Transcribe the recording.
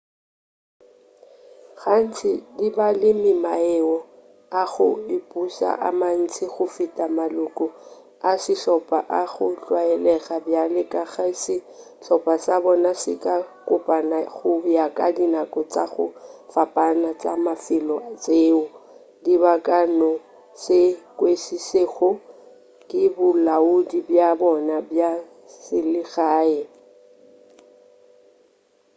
gantši di ba le maemo a go ipuša a mantši go feta maloko a sehlopa a go tlwaelega bjale ka ge sehlopa sa bona se ka kopana go ya ka dinako tša go fapana tša mafelo tšeo di ka no se kwešišegego ke bolaodi bja bona bja selegae